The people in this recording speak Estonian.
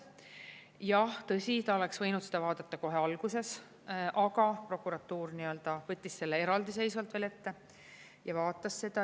Jah, tõsi ta oleks võinud seda vaadata kohe alguses, aga prokuratuur võttis selle eraldiseisvalt veel ette ja vaatas seda.